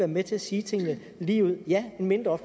med til at sige tingene ligeud ja en mindre